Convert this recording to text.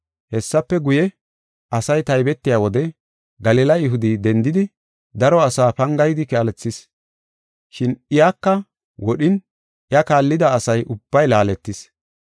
Hessafe guye, asay taybetiya wode Galila Yihudi dendidi daro asa pangayidi kaalethis, shin iyaka wodhin iya kaallida asa ubbay laaletis.